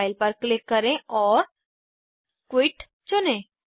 file पर click करें और क्विट चुनें